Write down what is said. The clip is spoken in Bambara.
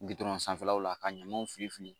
Gudɔrɔn sanfɛlaw la ka ɲamanw fili fili